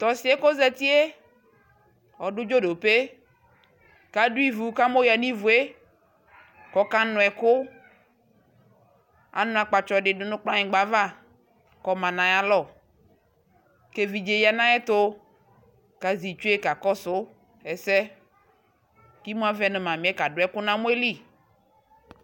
tʊ ɔsi yɛ dʊ ividini kʊ adʊ ivu kʊ amɔ yǝ nʊ ivu yɛ, kʊ ɔkanu ɛkʊ, anu akpatsɔ dɩ yǝ nʊ kplanyigba ava, kʊ ɔlɛ nʊ ayalɔ, kʊ evidze ya nʊ ayɛtʊ, kʊ azɛ itsu yɛ kakɔsʊ, ɛsɛ, kʊ imu avɛ nʊ mami kadʊ ɛkʊ nʊ amɔ yɛ li